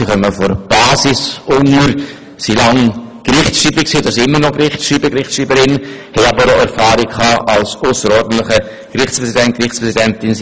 Sie kommen von der Basis, waren lange Zeit Gerichtsschreiber und Gerichtsschreiberin bzw. sind dies immer noch und bringen auch Erfahrungen als ausserordentlicher Gerichtspräsident bzw. Gerichtspräsidentin mit.